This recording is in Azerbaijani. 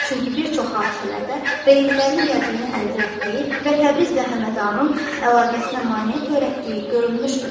Çünki bir çox hadisələrdə Reylilərin qəzəbini əldə etdiyi və Təbrizlə Həmədanın əlaqəsinə maneə törətdiyi görülmüşdür.